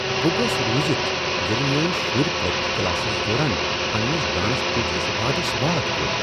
بہٕ گوس روزتھ ییٚلہ میٲنۍ شُرۍ پرٛکٹس کلاسس دوران پننس ڈانس ٹیچرس وادس واد کوٚر۔